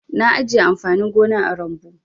Na ajiye amfanin gona a rumbu.